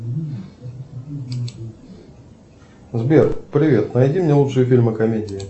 сбер привет найди мне лучшие фильмы комедии